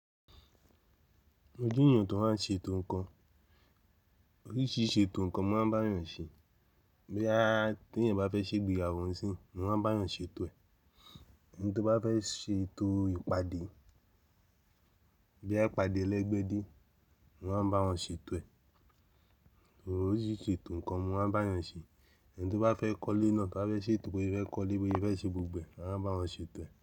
Ojú ènìyàn tòun máa ń ṣe ètò ǹkan, oríṣìíríṣìí ṣe ètò ǹkan ni mo máa ń bá ènìyàn ṣe. Boya tí ẹ̀niyan bá fẹ́ ṣe ìgbéyàwó sín, mo máa bá yàn ṣe ètò ẹ̀. Ẹni tí ó bá fẹ́ ṣe ètò ìpàdé, bíi ìpàdé ẹlẹ́gbẹ́dé, mo máa bá wọn ṣe ètò ẹ̀. Oríṣìíríṣìí ṣe ètò ǹkan mo máa ń bá ènìyàn ṣe. Ẹni tí ó bá fẹ́ kọ́lé náà bá fẹ́ ṣe ètò bi ose fẹ́ kọ́lé pé ìfẹ́ ṣe gbogbo ẹ̀, wọ́n máa bá wọn ṣe ètò ẹ̀